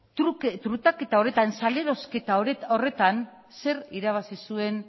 trukaketa horretan salerosketa horretan zer irabazi zuen